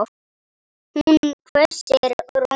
Hún hvessir róminn.